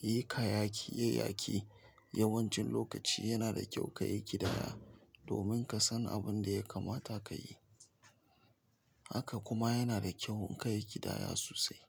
yi kayayyaki, yayaki. Yawancin lokaci yana da kyau kayi ƙidaya, domin ka san abun da ya kamata kayi. Haka kuma yana da kyau in kayi ƙidaya sosai.